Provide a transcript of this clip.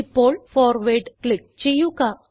ഇപ്പോൾ forward click ചെയ്യുക